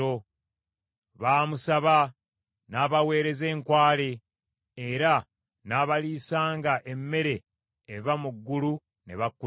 Baamusaba, n’abaweereza enkwale era n’abaliisanga emmere eva mu ggulu ne bakkuta.